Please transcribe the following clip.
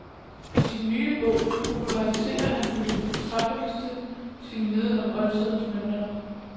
I sin nye bog populariserer han på det fortræffeligste sin viden om oldtidens mønter.